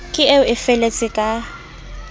ke eo e feletse ka